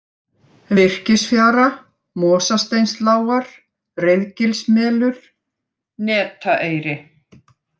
Virkisfjara, Mosasteinslágar, Reiðgilsmelur, Netaeyri